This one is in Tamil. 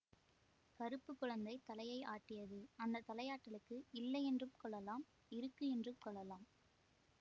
கறுப்பு குழந்தை தலையை ஆட்டியது அந்த தலையாட்டலுக்கு இல்லை என்றும் கொள்ளலாம் இருக்கு என்றும் கொள்ளலாம்